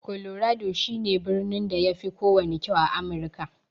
Colorado shi ne birnin da yafi kowanne kyau a Amirka.